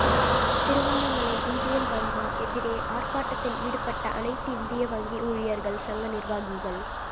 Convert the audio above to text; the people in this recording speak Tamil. திருவண்ணாமலை இந்தியன் வங்கி எதிரே ஆா்ப்பாட்டத்தில் ஈடுபட்ட அனைத்திந்திய வங்கி ஊழியா்கள் சங்க நிா்வாகிகள்